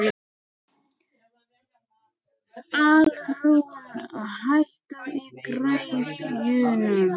Alrún, hækkaðu í græjunum.